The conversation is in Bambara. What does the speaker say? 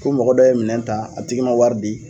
Fo mɔgɔ dɔ ye minɛn ta a tigi ma wari di